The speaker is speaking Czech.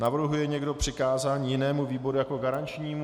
Navrhuje někdo přikázání jinému výboru jako garančnímu?